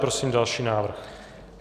Prosím další návrh.